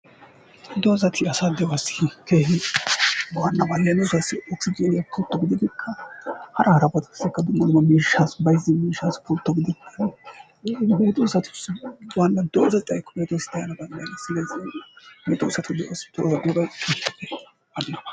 Doozati asaa de'uwassi keehi waannaba. Leemisuwassi okisijiiniya pultto gididikka hara harabatussikka dumma dumma miishshaassi bayzzin miishshaassi pultto gidid, medoosatussikka waanna doozay xaykko medoosay daana danddayenna. Silezii medosatussi de'on diyobay waannaba.